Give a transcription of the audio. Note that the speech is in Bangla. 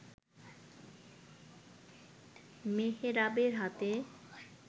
মেহরাবের হাতে